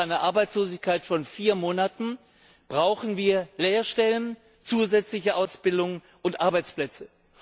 Nach einer Arbeitslosigkeit von vier Monaten brauchen wir Lehrstellen, zusätzliche Ausbildung und Arbeitsplätze.